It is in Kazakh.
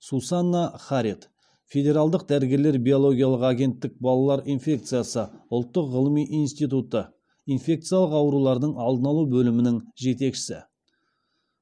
сусанна харит федералдық дәрігерлер биологиялық агенттіктің балалар инфекциясы ұлттық ғылыми институты инфекциялық аурулардың алдын алу бөлімінің жетекшісі